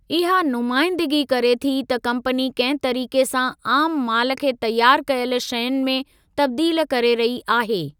इहा नुमाइंदगी करे थी त कम्पनी कंहिं तरीक़े सां आमु माल खे तयारु कयल शयुनि में तब्दील करे रही आहे।